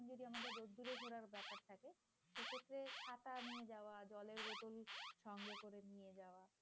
ছাতা নিয়ে যাওয়া জলের বোতল সঙ্গে করে নিয়ে যাওয়া।